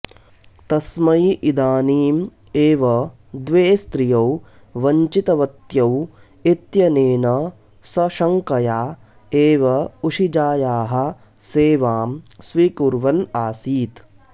तस्मै इदानीम् एव द्वे स्त्रियौ वञ्चितवत्यौ इत्यनेन सः शङ्कया एव उशिजायाः सेवां स्वीकुर्वन् आसीत्